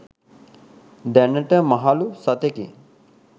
දැනට මහලූ සතෙකි.